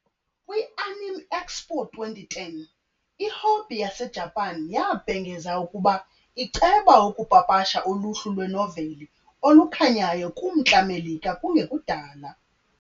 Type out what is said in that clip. Kwi -Anime Expo 2010, iHobby yaseJapan yabhengeza ukuba iceba ukupapasha uluhlu lwenoveli olukhanyayo kuMntla Melika kungekudala.